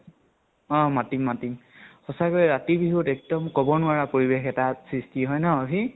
অ । মাতিম মাতিম । সচাকৈ ৰাতি বিহুত এক্দম কব নোৱাৰা পৰিবেষ এটা সৃষ্টি হয় ন আহি ?